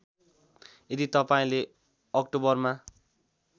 यदि तपाईँले अक्टोबरमा